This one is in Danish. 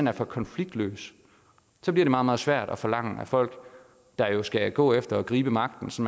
er for konfliktløs så bliver det meget meget svært at forlange af folk der jo skal gå efter at gribe magten så